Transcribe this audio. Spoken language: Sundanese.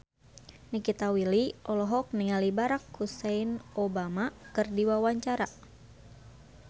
Nikita Willy olohok ningali Barack Hussein Obama keur diwawancara